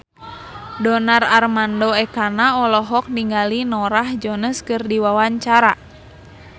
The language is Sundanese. Donar Armando Ekana olohok ningali Norah Jones keur diwawancara